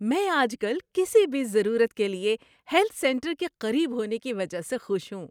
میں آج کل کسی بھی ضرورت کے لیے ہیلتھ سینٹر کے قریب ہونے کی وجہ سے خوش ہوں۔